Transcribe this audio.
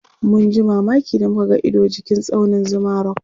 mun ji mamaki da muka ga Ido jikin tsaunin Zuma rock